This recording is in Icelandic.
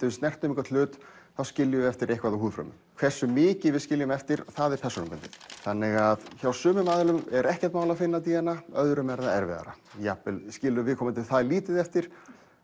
við snertum einhvern hlut þá skiljum við eftir eitthvað af húðfrumum hversu mikið við skiljum eftir það er persónubundið þannig að hjá sumum aðilum er ekkert mál að finna d n a hjá öðrum er það erfiðara jafnvel skilur viðkomandi það lítið eftir